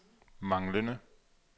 manglende